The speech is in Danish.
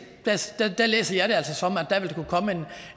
læser jeg altså som